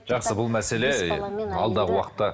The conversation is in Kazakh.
жақсы бұл мәселе алдағы уақытта